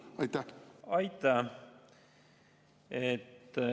Aitäh!